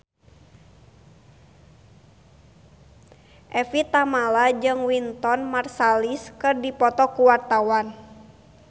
Evie Tamala jeung Wynton Marsalis keur dipoto ku wartawan